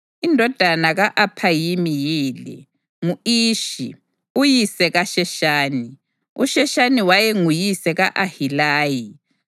Indodana ka-Aphayimi yile: ngu-Ishi, uyise kaSheshani. USheshani wayenguyise ka-Ahilayi.